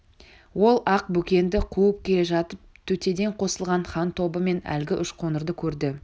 ол ақ бөкенді қуып келе жатып төтеден қосылған хан тобы мен әлгі үш қоңырды көрді